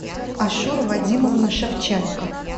ашура вадимовна шевченко